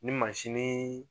Ni mansinin